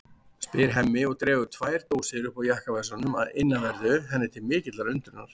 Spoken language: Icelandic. spyr Hemmi og dregur tvær dósir upp úr jakkavasanum að innanverðu henni til mikillar undrunar.